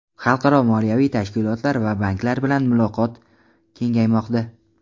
xalqaro moliyaviy tashkilotlar va banklar bilan muloqoti kengaymoqda.